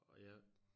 Og jeg